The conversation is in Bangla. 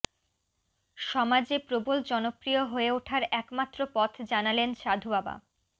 সমাজে প্রবল জনপ্রিয় হয়ে ওঠার একমাত্র পথ জানালেন সাধুবাবা